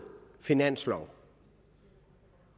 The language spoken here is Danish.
finanslov